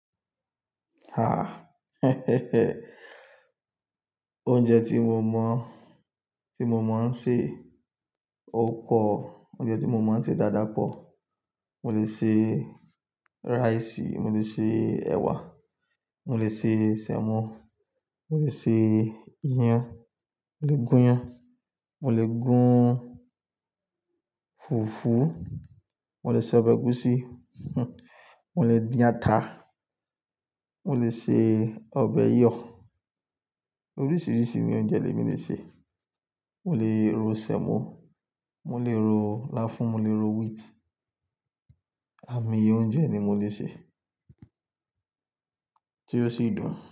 Oúnjẹ tí mo mọ, tí mo máa ń sè, ó pọ̀. Oúnjẹ tí mo máa ń sè dáadáa pọ̀. Mo lè ṣe irẹ̀si, mo lè ṣe ẹwà, mo lè ṣe sẹ̀mọ́, mo lè ṣe iyán, mo lè gún iyán. Fùfú, mo lè ṣe ọbẹ̀ ẹ̀gúsí, mo lè dín ata, mo lè ṣe ọbẹ̀ iyọ̀. Oríṣìíríṣìí oúnjẹ lé mi lè ṣe. Mo lè ro sẹ̀mọ́, mo lè ro láfún, mo lè ro wheat. Àmọ̀yé oúnjẹ ni mo lè sè tí ó sì dùn.